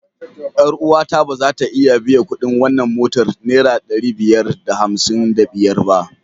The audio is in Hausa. Yar uwata ba za ta iya biyan kuɗin wannan mota naira ɗari biyar da hamsin da biyar ba.